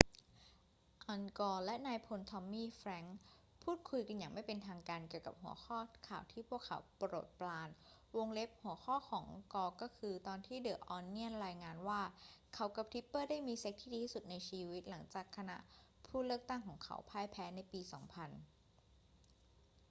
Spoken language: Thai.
อัล กอร์และนายพลทอมมี่ แฟรงกส์พูดคุยกันอย่างไม่เป็นทางการเกี่ยวกับหัวข้อข่าวที่พวกเขาโปรดปราน หัวข้อของกอร์คือตอนที่เดอะ ออนเนียนรายงานว่าเขากับทิปเปอร์ได้มีเซ็กซ์ที่ดีที่สุดในชีวิต หลังจากคณะผู้เลือกตั้งของเขาพ่ายแพ้ในปี 2000